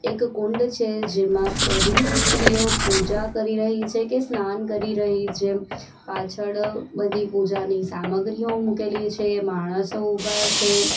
એક કુંડ છે જેમાં બધી જ સ્ત્રીઓ પૂજા કરી રહી છે કે સ્નાન કરી રહી છે પાછળ બધી પૂજાની સામગ્રીઓ મૂકેલી છે માણસો ઉભા છે.